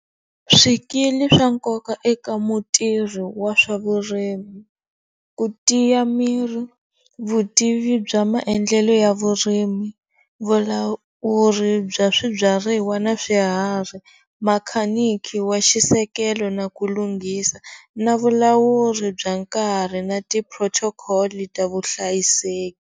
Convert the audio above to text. Swikili swa nkoka eka mutirhi wa swa vurimi ku tiya miri, vutivi bya maendlelo ya vurimi, vulawuri bya swibyariwa na swiharhi, makhaniki wa xisekelo na ku lunghisa na vulawuri bya nkarhi na ti-protocol ta vuhlayiseki.